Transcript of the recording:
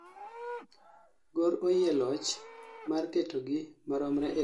gor oyie loch mar ketogi maromre e dakika mar pier abirio gi abich didek e ndalo adek